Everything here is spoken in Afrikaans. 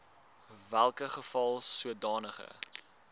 welke geval sodanige